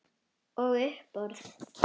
Og á uppboð.